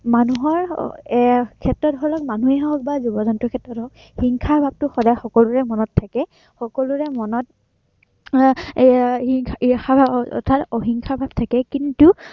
মানুহৰ আহ মানুহৰ ক্ষেত্ৰতে হওক বা জীৱ-জন্তুৰ ক্ষেত্ৰতে হওক হিংসা ভাৱটো সদায় সকলোৰে মনত থাকে, সকলোৰে মনত আহ এৰ উম ইৰ্ষা অৰ্থাত হিংসা ভাৱ থাকেই কিন্তু